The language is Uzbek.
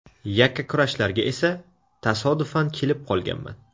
Yakkakurashlarga esa tasodifan kelib qolganman.